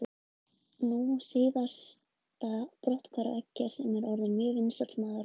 Nú síðast brotthvarf Eggerts sem var orðinn mjög vinsæll maður á Englandi.